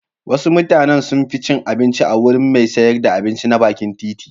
Wasu mutanen sun fi cin abinci a wurin mai sayar da abinci na bakin titi.